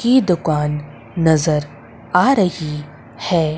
की दुकान नजर आ रही है।